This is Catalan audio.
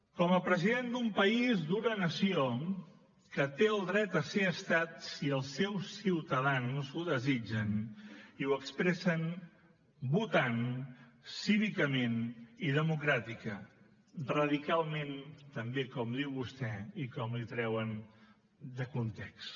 com a president d’un país d’una nació que té el dret a ser estat si els seus ciutadans ho desitgen i ho expressen votant cívicament i democràtica radicalment també com diu vostè i com li treuen de context